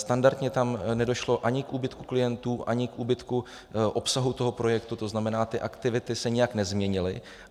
Standardně tam nedošlo ani k úbytku klientů, ani k úbytku obsahu toho projektu, to znamená, ty aktivity se nijak nezměnily.